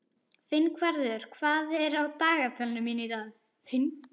Finnvarður, hvað er á dagatalinu mínu í dag?